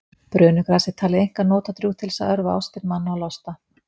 Brönugras var talið einkar notadrjúgt til þess að örva ástir manna og losta.